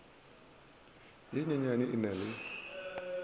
ye nnyanenyane e na le